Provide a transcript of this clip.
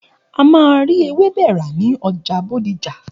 A máa rí ewébẹ̀ rà ní ọjà Bódìjà.